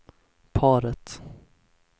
paret